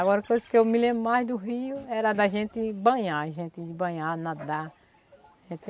Agora, a coisa que eu me lembro mais do rio era de a gente banhar, a gente banhar, nadar.